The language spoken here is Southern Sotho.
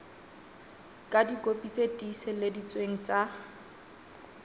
ka dikopi tse tiiseleditsweng tsa